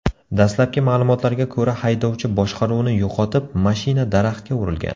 Dastlabki ma’lumotlarga ko‘ra, haydovchi boshqaruvni yo‘qotib, mashina daraxtga urilgan.